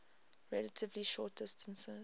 relatively short distances